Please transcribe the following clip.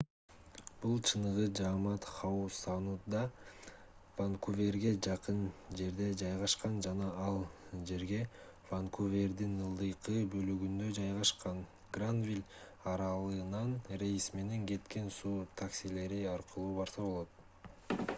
бул чыныгы жамаат хау саундда ванкуверге жакын жерде жайгашкан жана ал жерге ванкувердин ылдыйкы бөлүгүндө жайгашкан гранвиль аралынан рейс менен кеткен суу таксилери аркылуу барса болот